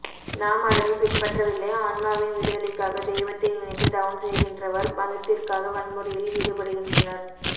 நாம் அதனை பின்பற்றவில்லை ஆன்மாவின் விடுதலைக்காக தெய்வத்தை நினைத்து தவம் செய்கின்றவர் மதத்திற்காக வன்முறையில் ஈடுபடுகின்றனர்